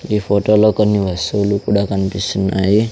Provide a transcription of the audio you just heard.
ఈ ఫోటో లో కొన్ని వస్సువులు కూడా కనిపిస్తున్నాయి.